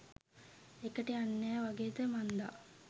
එකට යන්නෙ නෑ වගේද මංදා.